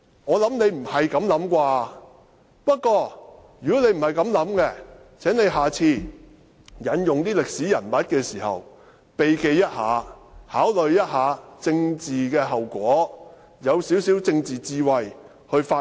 我想他不是這種想法，不過，如果他不是這樣想，請他下次引用歷史人物時有所避忌，考慮一下政治後果，運用少許政治智慧去發言。